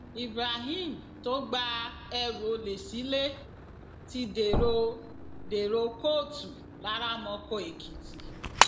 ibrahim tó gba ẹrù olè sílé ti dèrò dèrò kóòtù laramọkọ èkìtì